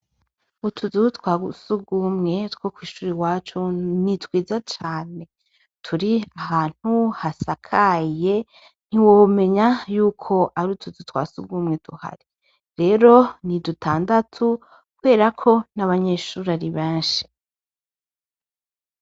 Utuzu twasugwumwe twokw'ishure iwacu nitwiza cane turi ahantu hasakaye ntiwomenya yuko ar'utuzu twasugwumwe tuhari. Rero nidutandatu kuberako n'abanyeshure ari beshi.